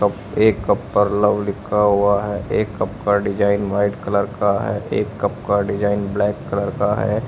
एक कप पर लव लिखा हुआ है एक कप का डिजाइन वाइट कलर का है एक कप का डिजाइन ब्लैक कलर का है।